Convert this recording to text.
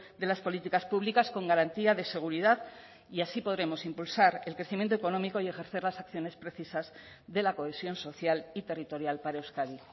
de las políticas públicas con garantía de seguridad y así podremos impulsar el crecimiento económico y ejercer las acciones precisas de la cohesión social y territorial para euskadi